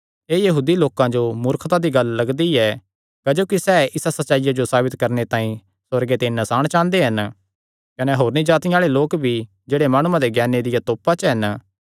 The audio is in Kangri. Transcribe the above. एह़ यहूदी लोकां जो मूर्खता दी गल्ल लगदी ऐ क्जोकि सैह़ इसा सच्चाईया जो साबित करणे तांई सुअर्गे ते नसाण चांह़दे हन कने होरनी जातिआं आल़े लोक भी जेह्ड़े माणुआं दे ज्ञाने दिया तोपा च हन